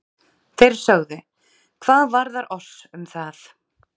Þeir sögðu: Hvað varðar oss um það?